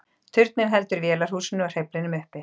Turninn heldur vélarhúsinu og hreyflinum uppi.